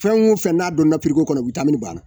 Fɛn o fɛn n'a donna kɔnɔ banna